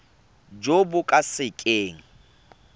jo bo ka se keng